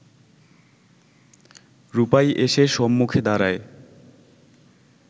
রূপাই এসে সম্মুখে দাঁড়ায়